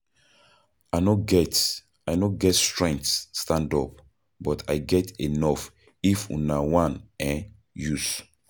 I no get I no get strength stand up but I get enough if una one um use.